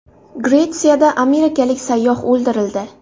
Gretsiyada amerikalik sayyoh o‘ldirildi.